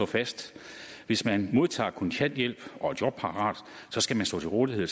fast at hvis man modtager kontanthjælp og er jobparat skal man stå til rådighed